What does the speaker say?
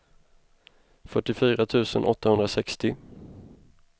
fyrtiofyra tusen åttahundrasextio